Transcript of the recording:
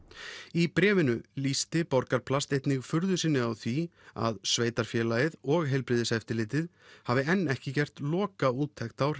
í bréfinu lýsti Borgarplast einnig furðu sinni á því að sveitarfélagið og heilbrigðiseftirlitið hafi enn ekki gert lokaúttekt á